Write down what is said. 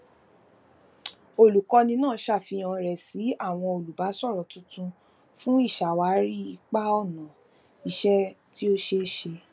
olukọni naa ṣafihan rẹ si awọn olubasọrọ tuntun fun iṣawari ipa ọna iṣẹ ti o ṣe e ṣe